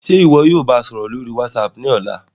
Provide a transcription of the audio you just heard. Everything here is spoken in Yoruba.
Ṣe iwọ yóò ba a sọrọ lori WhatsApp ni ọla?